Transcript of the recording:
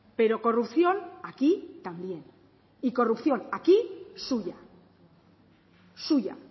pero corrupción aquí también y corrupción aquí suya suya